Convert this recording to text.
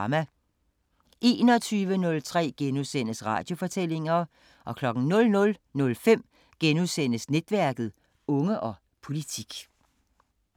21:03: Radiofortællinger * 00:05: Netværket: Unge og politik *